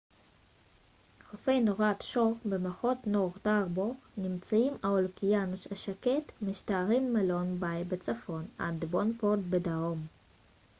חופי נורת' שור במחוז נורת' הארבור נמצאים על האוקיינוס השקט ומשתרעים מלונג ביי בצפון עד דבונפורט בדרום